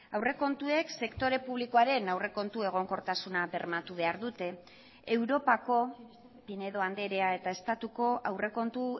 aurrekontuek sektore publikoaren aurrekontu egonkortasuna bermatu behar dute europako pinedo andrea eta estatuko aurrekontu